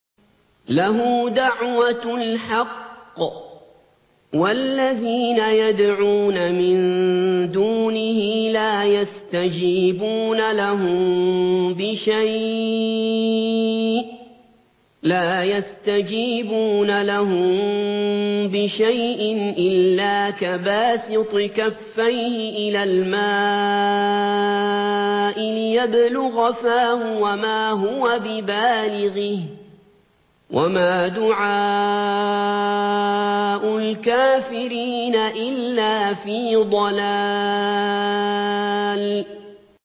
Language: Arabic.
لَهُ دَعْوَةُ الْحَقِّ ۖ وَالَّذِينَ يَدْعُونَ مِن دُونِهِ لَا يَسْتَجِيبُونَ لَهُم بِشَيْءٍ إِلَّا كَبَاسِطِ كَفَّيْهِ إِلَى الْمَاءِ لِيَبْلُغَ فَاهُ وَمَا هُوَ بِبَالِغِهِ ۚ وَمَا دُعَاءُ الْكَافِرِينَ إِلَّا فِي ضَلَالٍ